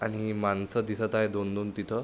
आणि माणस दिसत आहे दोन दोन तिथ.